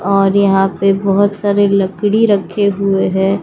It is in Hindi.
और यहां पे बहुत सारे लकड़ी रखे हुए है।